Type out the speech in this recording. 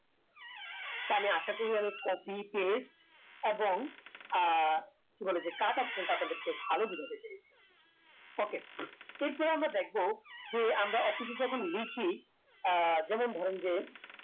আমি আশা করি আমি copy paste এবং আহ কি বলে সে cut option টা আপনাদেরকে ভালো বুঝাতে পেরেছি okay এরপর আমরা দেখবো যে আমরা office এ যখন লিখি আহ যেমন ধরেন যে